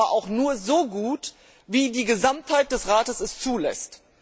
Sie kann es aber auch nur so gut, wie es die Gesamtheit des Rates zulässt.